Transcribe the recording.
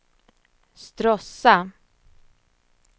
Stråssa